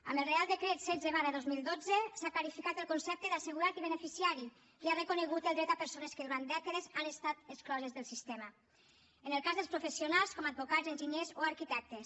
amb el reial decret setze dos mil dotze s’han clarificat els conceptes d’assegurat i beneficiari i s’ha reconegut el dret a persones que durant dècades han estat excloses del sistema en el cas dels professionals advocats enginyers o arquitectes